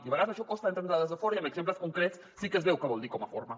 i a vegades això costa d’entendre des de fora i amb exemples concrets sí que es veu què vol dir com a forma